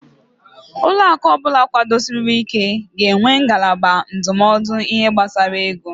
Ụlọaku ọbụla kwudosiri ị́ké ga-enwe ngalaba ndụmọdụ ihe gbasara ego.